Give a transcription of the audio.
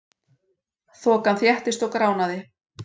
Þokan þéttist og gránaði.